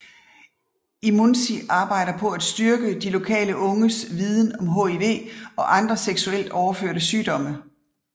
IMUNZI arbejde på at styrke de lokale unges viden om HIV og andre seksuelt overførte sygdomme